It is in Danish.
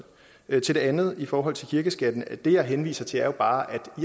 til det andet i forhold til kirkeskatten at det jeg henviser til jo bare er